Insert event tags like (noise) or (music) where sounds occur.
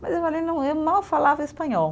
Mas eu, (unintelligible) mal falava espanhol.